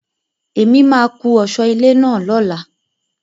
Èmi máa kún ọ̀sọ́ ilé náà lóla.